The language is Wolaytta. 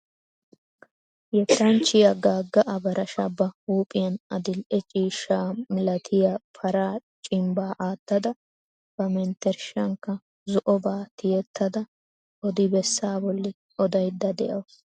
Yettanchchiya Gaga Abarasha ba huuphiyan adil'e ciishsha malatiya paraa cimbbaa aattada ba menttershshankka zo'obaa tiyyettada odi bessaa bolli odayidda dawusu.